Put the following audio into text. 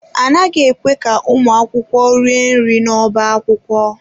A naghị ekwe ka ụmụ akwụkwọ rie nri n'ọbá akwụkwọ.